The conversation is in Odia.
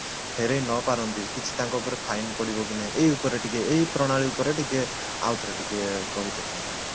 ଫେରେଇ ନ ପାରନ୍ତି କିଛି ତାଙ୍କ ଉପରେ fine ପଡିବ କି ନାହିଁ ଏଇ ଉପରେ ଟିକେ ଏଇ ପ୍ରଣାଳୀ ଉପରେ ଟିକେ ଆଉଥରେ ଟିକେ କହି ଦେଖନ୍ତୁ ଆପଣ